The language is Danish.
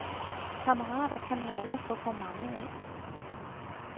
Kammerater kan man aldrig få for mange af.